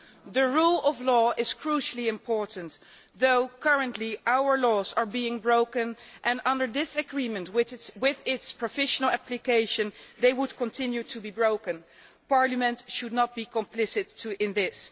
the rule of law is crucially important though currently our laws are being broken and under this agreement with its provisional application they would continue to be broken. Parliament should not be complicit in this.